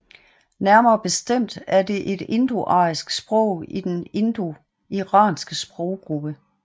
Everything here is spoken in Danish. Nærmere bestemt er det et indoarisk sprog i den indoiranske sproggruppe